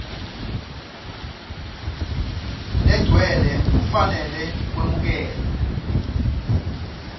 legcwele kufanele kwemukelwe